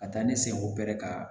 Ka taa ne sen o bɛrɛ ka